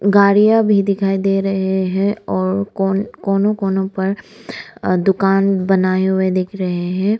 गाड़ियां भी दिखाई दे रहे हैं और कोनों कोनों पर दुकान बनाए हुए दिख रहे हैं।